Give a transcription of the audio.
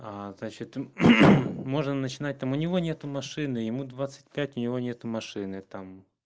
значит можно начинать там у него нет машины ему двадцать пять у него нет машины там